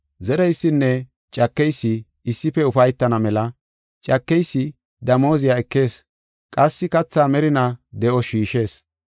Zereysinne cakeysi issife ufaytana mela cakeysi damooziya ekees qassi kathaa merinaa de7os shiishees.